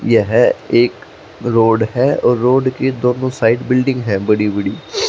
यह एक रोड है और रोड की दोनों साइड बिल्डिंग है बड़ी बड़ी।